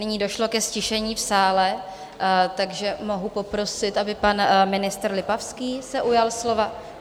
Nyní došlo ke ztišení v sále, takže mohu poprosit, aby pan ministr Lipavský se ujal slova.